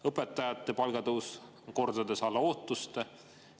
Õpetajate palgatõus on kordades alla ootuste.